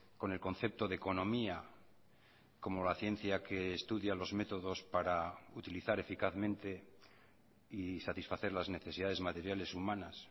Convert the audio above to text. con el concepto de economía como la ciencia que estudia los métodos para utilizar eficazmente y satisfacer las necesidades materiales humanas